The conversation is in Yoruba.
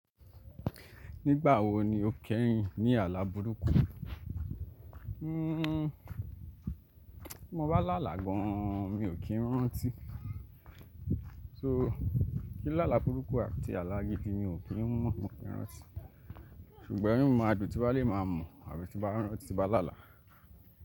Nígbà wo ni o kẹ́rìníní burúkú? Bí mo bá lálàá gan-an, mi ò kí ń rántí. So kí n lálàá burúkú àti àlá gidi, mi ò kí ń mọ̀, mi ò kí ń rántí. Ṣùgbọ́n inú mi máa dùn tí n bá lè máa mọ̀ àbí tí n bá n rántí tí n bá lálàá.